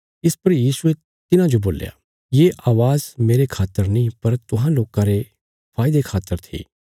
इस पर यीशुये तिन्हांजो बोल्या ये अवाज मेरे खातर नीं पर तुहां लोकां रे फायदे खातर थी